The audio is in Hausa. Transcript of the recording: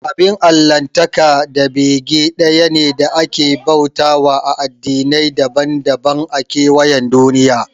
Abin Allahntaka da bege ɗaya ne da ake bauta wa a addinai daban daban a kewayen duniya